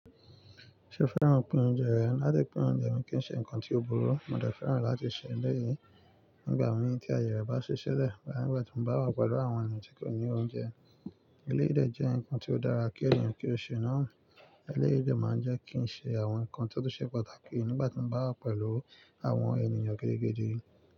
Ṣé o fẹ́ràn pín oúnjẹ rẹ? Ti n be de pín oúnjẹ mi kì í ṣe nǹkan tí ó burú. Mo dẹ fẹ́ràn láti ṣe eleyii nígbà míì tí aaye re bá ṣi silẹ̀ boya nigba ti mo bá wà pẹ̀lú àwọn ènìyàn tí kò ní oúnjẹ. Eleyii dè jẹ́ ǹkan tí ó dára kí èniyàn kí ó ṣe nà. Eleyii dè máa ń jẹ́ kí n ṣe àwọn ǹkan tí ó ṣe pàtàkì nígbà tí mo bá wà pẹ̀lú àwọn ènìyàn gidigidi.